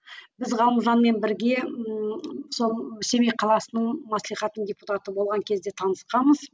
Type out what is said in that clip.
біз ғалымжанмен бірге ііі сол семей қаласының маслихатының депутаты болған кезде танысқанбыз